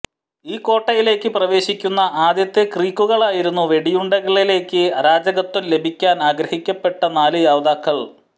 ഈ കോട്ടയിലേക്ക് പ്രവേശിക്കുന്ന ആദ്യത്തെ ക്രീക്കുകളായിരുന്നു വെടിയുണ്ടകളിലേക്ക് അരാജകത്വം ലഭിക്കാൻ അനുഗ്രഹിക്കപ്പെട്ട നാലു യോദ്ധാക്കൾ